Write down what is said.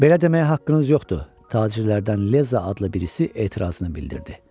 Belə deməyə haqqınız yoxdur, tacirlərdən Leza adlı birisi etirazını bildirdi.